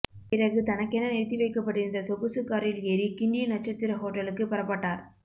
பிறகு தனக்கென நிறுத்திவைக்கப்பட்டிருந்த சொகுசு காரில் ஏறி கிண்டி நட்சத்திர ஹோட்டலுக்கு புறப்பட்டார்